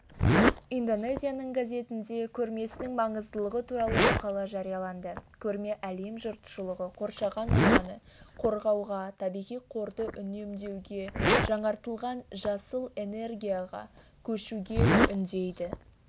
индонезияның газетінде көрмесінің маңыздылығы туралы мақала жарияланды көрме әлем жұртшылығын қоршаған ортаны қорғауға табиғи қорды үнемдеуге жаңғыртылатын жасыл энергияға көшуге үндейді